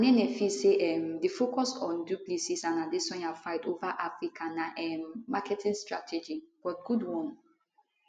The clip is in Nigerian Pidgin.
anene feel say um di focus on du plessis and adesanya fight ova africa na um marketing strategy but good one